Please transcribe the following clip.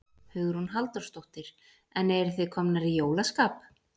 Hugrún Halldórsdóttir: En eruð þið komnar í jólaskap?